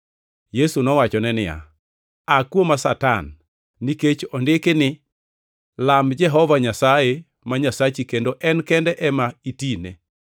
Yesu nowachone niya, “Aa kuoma, Satan! Nikech ondiki ni, ‘Lam Jehova Nyasaye ma Nyasachi kendo en kende ema itine.’ + 4:10 \+xt Rap 6:13\+xt* ”